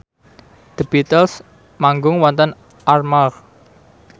The Beatles manggung wonten Armargh